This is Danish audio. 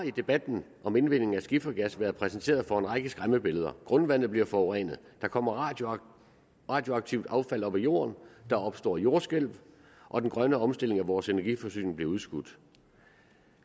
i debatten om indvinding af skifergas blevet præsenteret for en række skræmmebilleder grundvandet bliver forurenet der kommer radioaktivt affald op af jorden der opstår jordskælv og den grønne omstilling af vores energiforsyning bliver udskudt